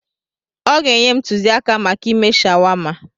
Ọ ga-enye m ntụzịaka maka ịme shawama.